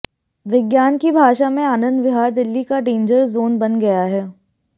विज्ञान की भाषा में आनंद विहार दिल्ली का डेंजर ज़ोन बन गया है